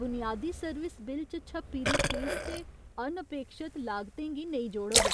बुनियादी service bill च छप्पी दी फीस ते अनअपेक्षत लागतें गी नेईं जोड़ग।